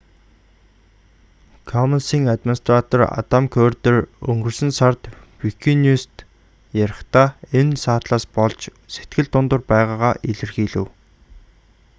коммонс-ийн администратор адам куерден өнгөрсөн сард викиньюс-т ярихдаа энэ саатлаас болж сэтгэл дундуур байгаагаа илэрхийлэв